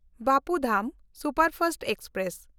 Bapu Dham superfast express